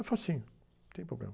É facinho, não tem problema.